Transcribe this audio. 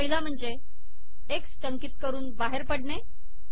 पहिला म्हणजे एक्स टंकित करून बाहेर पडणे